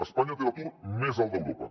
espanya té l’atur més alt d’europa